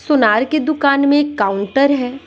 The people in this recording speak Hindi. सुनार की दुकान में एक काउंटर है।